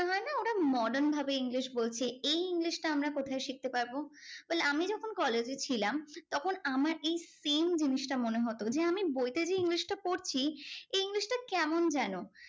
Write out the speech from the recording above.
ওরা modern ভাবে English বলছে। এই ইংলিশটা আমরা কোথায় শিখতে পারবো? well আমি যখন college ছিলাম তখন আমার এই same জিনিসটা মনে হতো যে, আমি বইতে যে ইংলিশটা করছি এই ইংলিশটা কেমন যেন?